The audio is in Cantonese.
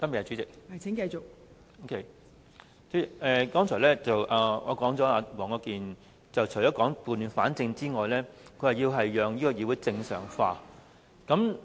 代理主席，黃國健議員剛才除了說要撥亂反正之外，還說要讓議會正常化。